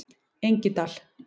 Engidal